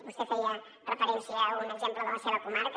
vostè feia referència a un exemple de la seva comarca